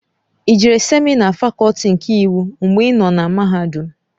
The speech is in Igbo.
I jere semịna Fakọlti nke Iwu mgbè ịnọ na mahadum?